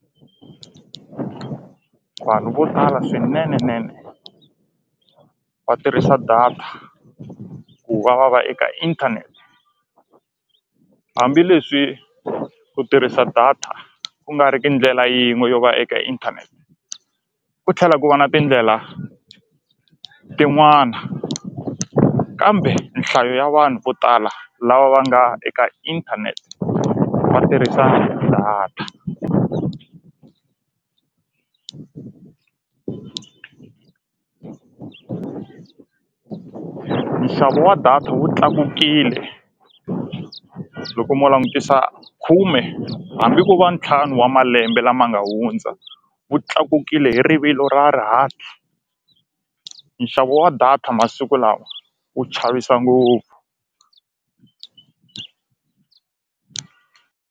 Vanhu vo tala swinenenene va tirhisa data ku va va va eka internet hambileswi ku tirhisa data ku nga ri ki ndlela yin'we yo va eka internet ku tlhela ku va na tindlela tin'wana kambe nhlayo ya vanhu vo tala lava va nga eka inthanete va tirhisaka data nxavo wa data wu tlakukile loko mo langutisa khume hambi ko va ntlhanu wa malembe lama nga hundza wu tlakukile hi rivilo ra rihati nxavo wa data masiku lawa wu chavisa ngopfu.